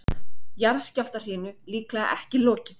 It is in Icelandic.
Jarðskjálftahrinu líklega ekki lokið